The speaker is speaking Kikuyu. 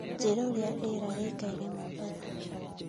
Njĩĩra urĩa rĩera rĩĩkaire mombatha